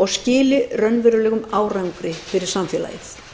og skili raunverulegum árangri fyrir samfélagið